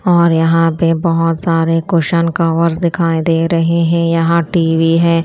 और यहां पे बहोत सारे कुशन कवर दिखाई दे रहे हैं यहां टी_वी है।